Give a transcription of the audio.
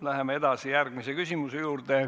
Läheme edasi järgmise küsimuse juurde.